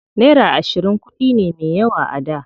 Naira ashirin kuɗi ne me yawa a da.